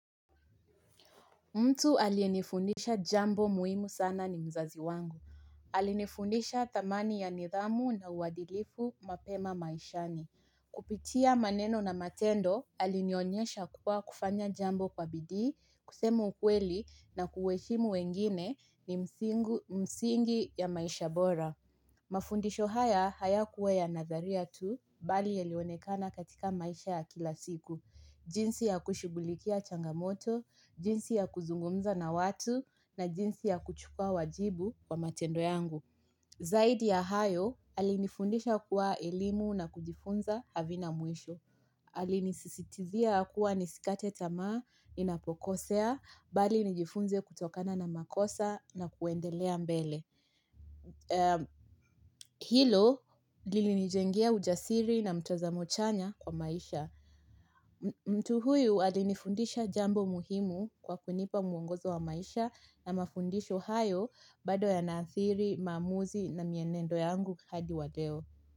Mtu aliyenifundisha jambo muhimu sana ni mzazi wangu. Alinifundisha thamani ya nidhamu na uwadilifu mapema maishani. Kupitia maneno na matendo, alinionyesha kuwa kufanya jambo kwa bidii, kusema ukweli na kuheshimu wengine ni msingi ya maisha bora. Mafundisho haya hayakuwa ya nadharia tu, bali yelionekana katika maisha ya kila siku. Jinsi ya kushughulikia changamoto, jinsi ya kuzungumza na watu na jinsi ya kuchukua wajibu wa matendo yangu. Zaidi ya hayo, alinifundisha kuwa elimu na kujifunza havina mwisho. Alinisisitizia kuwa nisikate tamaa ninapokosea, bali nijifunze kutokana na makosa na kuendelea mbele. Hilo, lilinijengea ujasiri na mtazamo chanya kwa maisha. Mtu huyu alinifundisha jambo muhimu kwa kunipa mwongozo wa maisha na mafundisho hayo bado yanaathiri, maamuzi na mienendo yangu hadi wa leo.